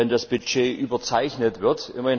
das Budget überzeichnet wird?